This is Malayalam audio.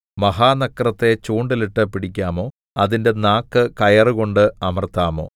മഹാനക്രത്തെ ചൂണ്ടലിട്ട് പിടിക്കാമോ അതിന്റെ നാക്ക് കയറുകൊണ്ട് അമർത്താമോ